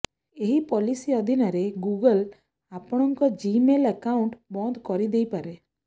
ଏହି ପଲିସି ଅଧିନରେ ଗୁଗଲ୍ ଆପଣଙ୍କ ଜିମେଲ୍ ଆକାଉଣ୍ଟ ବନ୍ଦ କରିଦେଇପାରେ